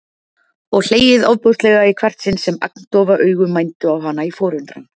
Og hlegið ofboðslega í hvert sinn sem agndofa augu mændu á hana í forundran.